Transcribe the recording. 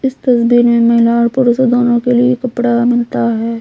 इस तस्वीर में महिला और पुरुषो दोनों के लिए कपड़ा मिलता है।